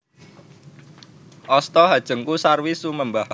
Asta hanjengku sarwi sumembah